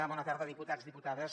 bona tarda diputats diputades